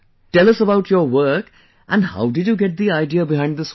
Tell us about your work and how did you get the idea behind this work